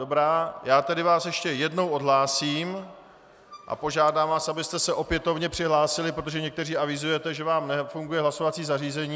Dobrá, já vás tedy ještě jednou odhlásím a požádám vás, abyste se opětovně přihlásili, protože někteří avizujete, že vám nefunguje hlasovací zařízení.